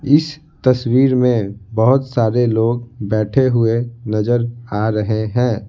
इस तस्वीर में बहुत सारे लोग बैठे हुए नजर आ रहे है।